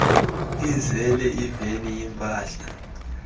izale iveni yimpahla